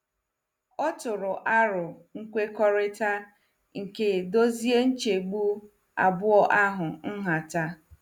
O tụrụ aro nkwekọrịta nke dozie nchegbu abụọ ahụ nhata.